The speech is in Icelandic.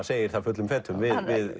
segir það fullum fetum við